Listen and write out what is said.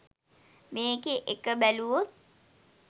මේකේ එක බැලුවොත්